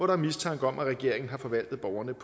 er mistanke om at regeringen har forvaltet borgernes